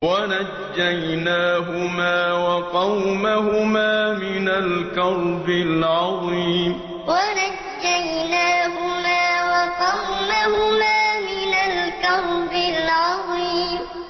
وَنَجَّيْنَاهُمَا وَقَوْمَهُمَا مِنَ الْكَرْبِ الْعَظِيمِ وَنَجَّيْنَاهُمَا وَقَوْمَهُمَا مِنَ الْكَرْبِ الْعَظِيمِ